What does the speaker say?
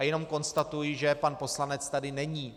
A jenom konstatuji, že pan poslanec tady není.